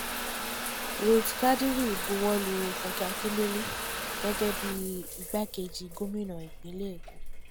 ruth kadirí bọwọ́lu fúnkẹ́ akíndélé gẹ́gẹ́ bí igbákejì gómìnà ìpínlẹ̀ èkó